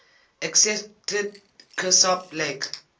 accepted kirsopp lake